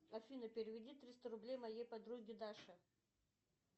афина переведи триста рублей моей подруге даше